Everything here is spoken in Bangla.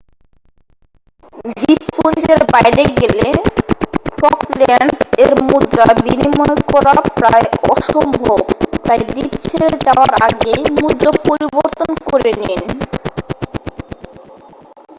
দ্বীপপুঞ্জের বাইরে গেলে ফকল্যান্ডস এর মুদ্রা বিনিময় করা প্রায় অসম্ভব তাই দ্বীপ ছেড়ে যাওয়ার আগেই মুদ্রা পরিবর্তন করে নিন